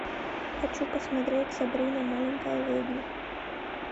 хочу посмотреть сабрина маленькая ведьма